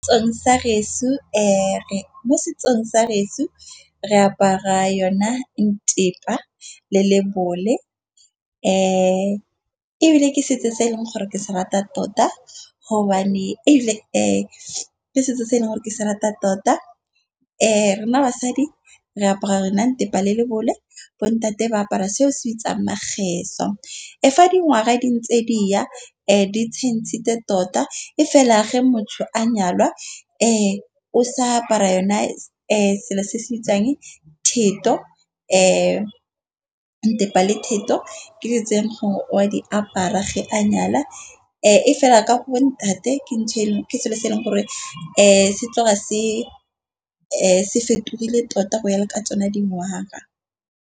Sa geso mo setsong sa geso re apara yona ntepa le lebole. Ebile ke setso se e leng gore ke se rata tota gobane ebile ke setso se e leng gore ke se rata tota. Rena basadi re apara rena ntepa le lebole, bo ntate ba apara seo se bitsang mageso. E fa dingwaga di ntse diya, di tshentsitse tota e fela ge motho a nyalwa o sa apara yone selo se se bitsang ntepa le theto. Ke diyo tseng gore o a di apara ge a nyala, e fela ka go bo ntate ke selo se e leng gore se tloga se fetogile tota go ya le ka tsona di ngwaga.